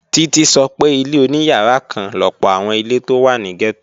Títí sọ pé ilé oníyàrá kan lọ̀pọ̀ àwọn ilé tó wà ní gẹ́tò